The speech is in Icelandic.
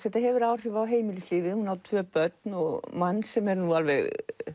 þetta hefur áhrif á heimilislífið hún á tvö börn og mann sem er nú alveg